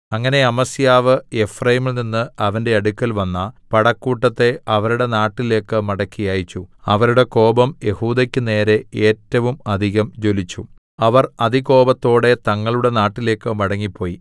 അങ്ങനെ അമസ്യാവ് എഫ്രയീമിൽനിന്ന് അവന്റെ അടുക്കൽ വന്ന പടക്കൂട്ടത്തെ അവരുടെ നാട്ടിലേക്ക് മടക്കി അയച്ചു അവരുടെ കോപം യെഹൂദെക്കു നേരെ ഏറ്റവും അധികം ജ്വലിച്ചു അവർ അതികോപത്തോടെ തങ്ങളുടെ നാട്ടിലേക്ക് മടങ്ങിപ്പോയി